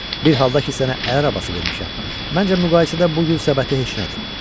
Bir halda ki sənə əl arabası vermişəm, məncə müqayisədə bu gül səbəti heç nədir.